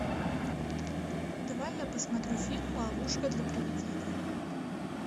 давай я посмотрю фильм ловушка для привидения